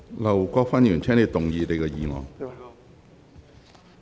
劉國勳議員，請動議你的議案。